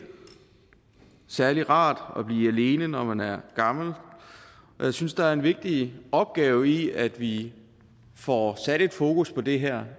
særlig rart at blive alene når man er gammel og jeg synes der er en vigtig opgave i at vi får sat fokus på det her